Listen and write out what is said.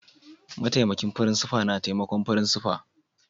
Ma'taimakin frincipa na taimakon frincipa'n.